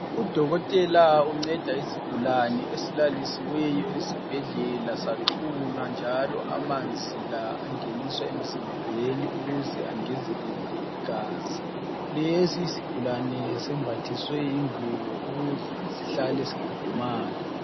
Udokotela unceda isigulane esilalisiweyo esibhedlela saxhunywa njalo amanzi la angeniswa emzimbeni ukuze angezelele igazi. Lesi isigulane sembathiswe ingubo ukuze sihlale sikhudumala.